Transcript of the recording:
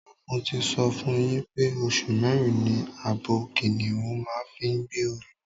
Mo ti sọ fún yín pé oṣù mẹ́rin ni abo kìnìhún máa ń fi gbé oyún.